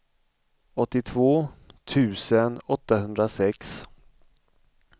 åttiotvå tusen åttahundrasex